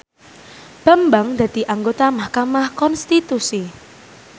Bambang dadi anggota mahkamah konstitusi